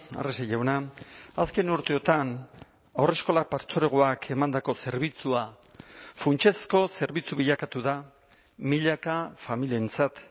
arrese jauna azken urteotan haurreskolak partzuergoak emandako zerbitzua funtsezko zerbitzu bilakatu da milaka familientzat